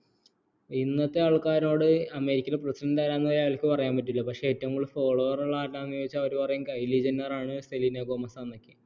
ഇന്നത്തെ ആൾക്കാരോട് അമേരിക്കയിലെ പ്രെസിഡെന്റ് ആരാണ് ചോദിച്ച അവർക്ക് പറയാൻ പറ്റൂല പക്ഷേ ഏറ്റവും കൂടുതൽ follower ഉള്ള ആരാണ് ചോദിച്ച കയിലി ജെന്നർ ആണ് സെലീന ഗോമസ് ആണെന്നൊക്കെ